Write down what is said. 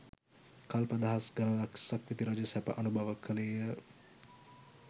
කල්ප දහස් ගණනක් සක්විති රජ සැප අනුභව කළේය.